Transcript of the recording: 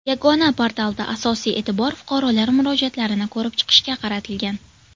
Yagona portalda asosiy e’tibor fuqarolar murojaatlarini ko‘rib chiqishga qaratilgan.